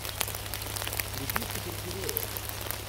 вруби супергероев